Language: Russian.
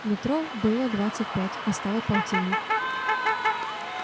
метро было двадцать пять а стало полтинник